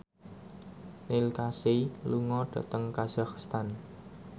Neil Casey lunga dhateng kazakhstan